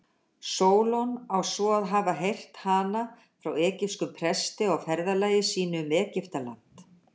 Sólon á svo að hafa heyrt hana frá egypskum presti á ferðalagi sínu um Egyptaland.